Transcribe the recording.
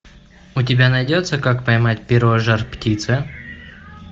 у тебя найдется как поймать перо жар птицы